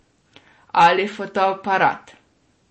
Ali fotoaparat.